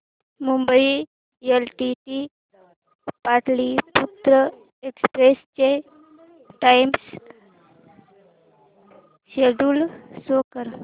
Mumbai LTT Pataliputra express चे time schedule show कर